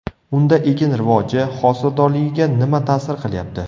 Unda ekin rivoji, hosildorligiga nima ta’sir qilyapti?